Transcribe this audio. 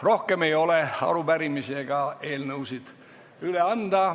Rohkem arupärimisi ega eelnõusid üle anda ei ole.